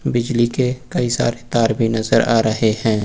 बिजली के कई सारे तार भी नजर आ रहे हैं।